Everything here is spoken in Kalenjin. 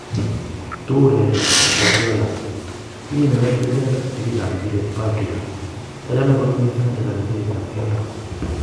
Toure: Guardiola ' Tinye inendet terchinet ag pirik ap imbiret chepo africa. Kiochome kot missing achezan imbiret ap keldo.